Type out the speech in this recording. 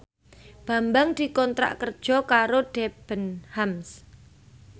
Bambang dikontrak kerja karo Debenhams